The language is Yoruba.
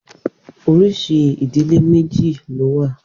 Oríṣi ìdílé méjì ló wà.